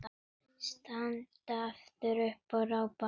Standa aftur upp og rápa.